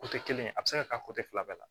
kelen a bɛ se ka fila bɛɛ la